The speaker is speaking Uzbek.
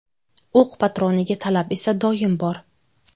O‘q patroniga talab esa doim bor.